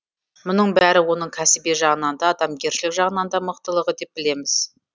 мұның бәрі оның кәсіби жағынан да адамгершілік жағынан да мықтылығы деп білеміз